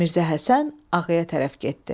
Mirzə Həsən ağaya tərəf getdi.